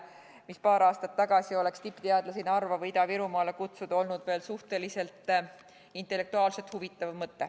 Sest paar aastat tagasi oleks tippteadlasi Narva või Ida-Virumaale kutsuda olnud veel intellektuaalselt suhteliselt huvitav mõte.